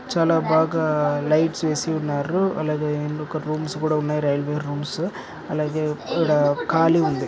చాల బాగా లైట్స్ వేసిఉన్నారు అలాగే ఇదొక రూమ్స్ కూడా ఉన్నాయి రైల్వే రూమ్స్ అలాగే ఈడ కాళీ ఉంది.